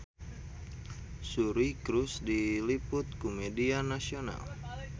Suri Cruise diliput ku media nasional